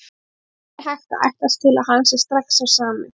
Það er ekki hægt að ætlast til að hann sé strax sá sami.